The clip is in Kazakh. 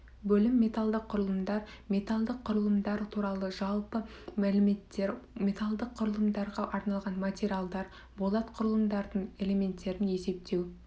бөлім металды құрылымдар металдық құрылымдар туралы жалпы мәліметтер металдық құрылымдарға арналған материалдар болат құрылымдардың элементтерін есептеу